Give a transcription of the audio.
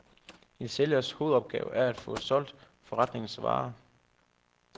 En sælgers hovedopgave er at få solgt forretningens varer.